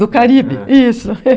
Do Caribe, isso.